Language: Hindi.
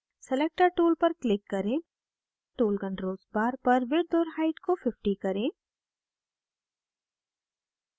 selector tool पर click करें tool controls bar पर width और height को 50 करें